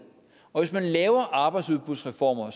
og hvis man laver arbejdsudbudsreformer